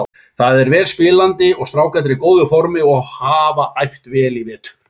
Það er vel spilandi og strákarnir í góðu formi og hafa æft vel í vetur.